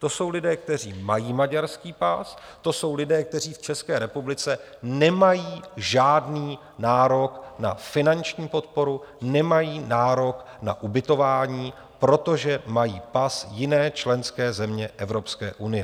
To jsou lidé, kteří mají maďarský pas, to jsou lidé, kteří v České republice nemají žádný nárok na finanční podporu, nemají nárok na ubytování, protože mají pas jiné členské země Evropské unie.